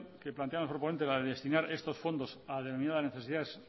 que plantea el proponente la de destinar estos fondos a denominadas necesidades